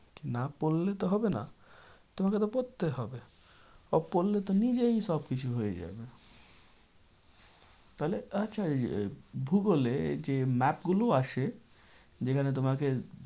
না পড়লে তো হবে না। তোমাকে তো পড়তে হবে। ও পড়লে তো নিজেই সব কিছু হয়ে যাবে। তাহলে আচ্ছা ভূগোলে এই যে map গুলো আছে। যেখানে তোমাকে